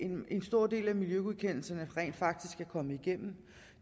en stor del af miljøgodkendelserne rent faktisk er kommet igennem